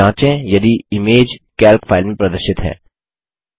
जाँचें यदि image Calc file में प्रदर्शित है